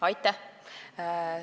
Aitäh!